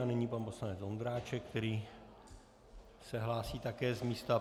A nyní pan poslanec Ondráček, který se hlásí také z místa.